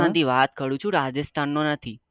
rajasthan થી વાત કરું છુ Rajasthan નો નથી